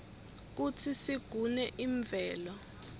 kutsi sigune imvelo